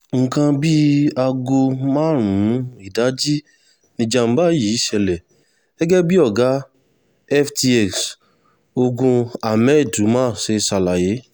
nǹkan bíi aago márùn-ún ìdajì níjàmbá yìí ṣẹlẹ̀ gẹ́gẹ́ bí ọ̀gá ftx ogun ahmed umar ṣe ṣàlàyé